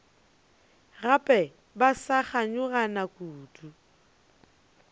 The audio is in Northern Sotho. gape ba sa kganyogana kudu